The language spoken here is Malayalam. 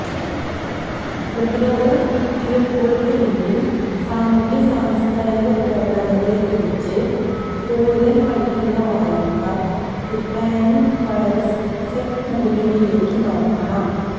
പ്രതിരോധ കുത്തിവയ്പ്പുകൾക്കുപിന്നിൽ സാമൂഹ്യ സാംസ്കാരിക പ്രവണതകളെക്കുറിച്ച് കൂടുതൽ പഠിക്കുന്ന വായനക്കാർ ദി പാനിക് വൈറസ് സെത് മുകുനുവിലേക്ക് നോക്കണം